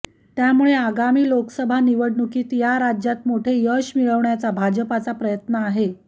त्यामुळे आगामी लोकसभा निवडणुकीत या राज्यात मोठे यश मिळवण्याचा भाजपचा प्रयत्न आहे